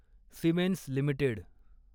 Siemens limited